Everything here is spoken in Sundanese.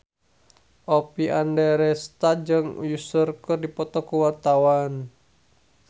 Oppie Andaresta jeung Usher keur dipoto ku wartawan